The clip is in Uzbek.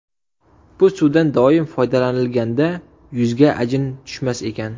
Bu suvdan doim foydalanilganda yuzga ajin tushmas ekan.